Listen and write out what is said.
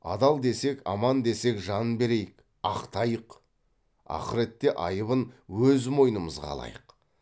адал десек аман десек жан берейік ақтайық ақыретте айыбын өз мойнымызға алайық